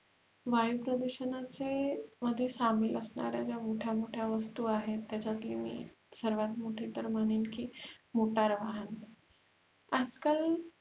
वायु प्रदूषणाचे मध्ये सामील असणाऱ्या ज्या मोठ्या मोठ्या वस्तु आहेत त्याचायातले मी सर्वात मोठी तर म्हणेन की मोटार वाहन आजकाल अस झाले आहे की प्रत्येक